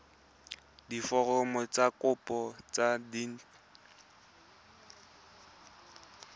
diforomo tsa kopo tse dint